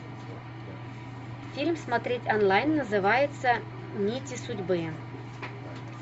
фильм смотреть онлайн называется нити судьбы